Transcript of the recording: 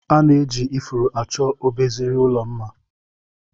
Ana eji ifuru achọ mbaraezi ụlọ mma.